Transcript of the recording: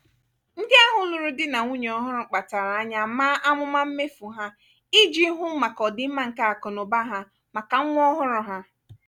ndị ahụ lụrụ di na nwunye ọhụrụ kpachara anya maa amụma mmefu ha iji hụ maka ọdịmma nke akụnaụba ha maka nwa ọhụrụ ha.